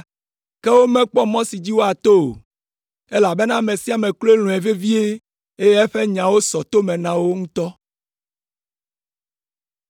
Ke womekpɔ mɔ si dzi woato o, elabena ame sia ame kloe lɔ̃e vevie, eye eƒe nyawo sɔ to me na wo ŋutɔ.